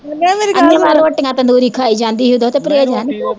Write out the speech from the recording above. ਅਨੇਵਾਹ ਰੋਟੀਆਂ ਤੰਦੂਰੀ ਖਾਈ ਜਾਂਦੀ ਸੀ ਉਦੋਂ ਤੇ ਪਰਹੇਜ਼ ਹੈਨੀ ਸੀ